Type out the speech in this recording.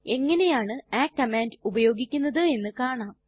എങ്ങനെയാണു ആ കമാൻഡ് ഉപയോഗിക്കുന്നത് എന്ന് കാണാം